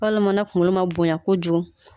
Walima ni kunkolo ma bonya kojugu.